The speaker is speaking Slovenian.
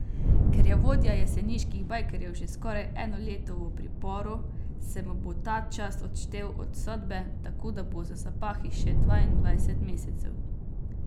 Ker je vodja jeseniških bajkerjev že skoraj eno leto v priporu, se mu bo ta čas odštel od sodbe, tako da bo za zapahi še dvaindvajset mesecev.